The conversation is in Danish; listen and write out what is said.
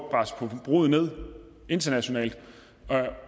at presse forbruget ned internationalt